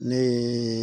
Ne ye